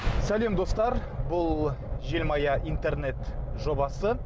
сәлем достар бұл желмая интернет жобасы